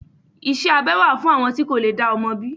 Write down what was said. Iṣẹ́ abẹ wà fún àwọn tí kò lè dá ọmọ bí.